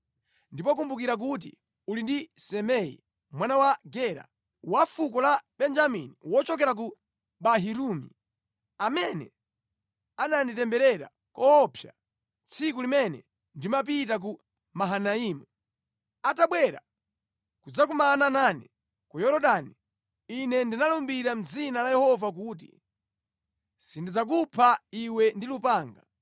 “Ndipo kumbukira kuti uli ndi Simei mwana wa Gera, wa fuko la Benjamini wochokera ku Bahurimu, amene ananditemberera koopsa tsiku limene ndimapita ku Mahanaimu. Atabwera kudzakumana nane ku Yorodani, ine ndinalumbira mʼdzina la Yehova kuti, ‘Sindidzakupha iwe ndi lupanga.’